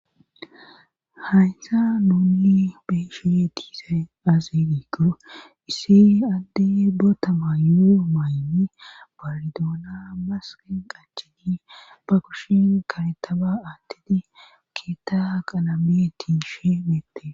Haysa nuuni beeshe dizay aaze gikko isse adde bota mayo maydi bari doona masken qacchidi ba kushin karetaba attidi keetta ginan tishe bettes.